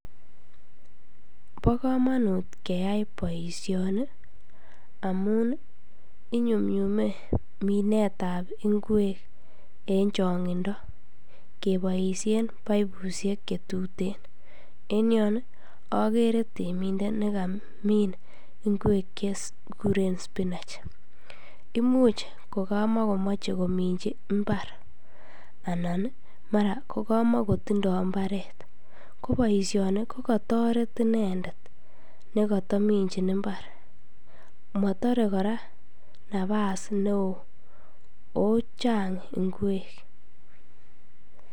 Bokomonut keyai boisioni amun inyumnyume minetan ngwek en chong'indo keboisien poipusiek chetuten en yon akere temindet nekamin ngwek chekikuren spinach imuch kokamakomoche kominji mbar anan mara kokamotindoo mbaret koboisioni kokotoret inendet nekotominjin mbar motoree kora napas neo ochang ngwek.